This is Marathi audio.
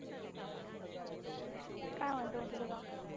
काय म्हणतो मग तुझ गाव?